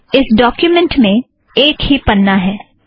इस डोक्युमेंट में एक ही पन्ना है